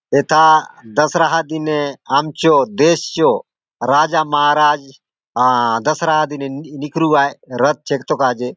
एथा दशहरा दिने आमचो देश चो राजा महाराज आ दशहरा दिने नि निकरूआय रथ चेगतो काजे ।